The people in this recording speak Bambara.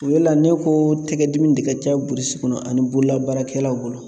O le la ne ko tɛgɛdimi de ka ca burusi kɔnɔ ani bololabaarakɛlaw bolo